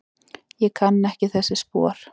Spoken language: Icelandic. Ég kann ekki þessi spor.